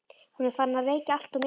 Hún er farin að reykja alltof mikið.